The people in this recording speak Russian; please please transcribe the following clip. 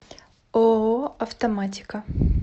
ооо автоматика